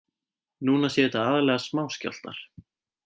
Núna séu þetta aðallega smáskjálftar